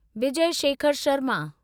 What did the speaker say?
Vijay Shekhar Sharma